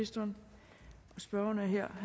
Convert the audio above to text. nej jeg